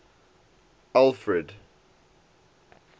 alfred